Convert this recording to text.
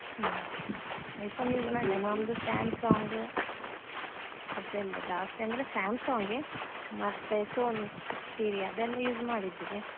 ಹ್ಮ್ iPhone use ಮಾಡ್ಲಿಲ್ಲ ನಮ್ದು Samsung ಅದೆಲ್ಲಾ ಜಾಸ್ತಿಯಂದ್ರೆ Samsung ಏ ಮತ್ತೆ Sony Xperia ಅದೆಲ್ಲಾ use ಮಾಡಿದ್ವಿ.